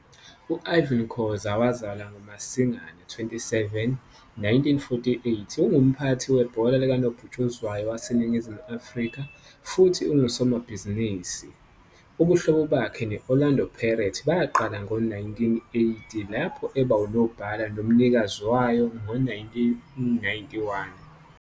U Irvin Khoza, owazalwa ngoMasingana 27, 1948, ungumphathi webhola likanobhutshuzwayo waseNingizimu Afrika futhi ungusomabhizinisi. Ubuhlobo bakhe ne-Orlando Pirates baqala ngo-1980, lapho eba unobhala nomnikazi wayo ngo-1991.